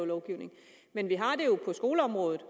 lovgivning men vi har det jo på skoleområdet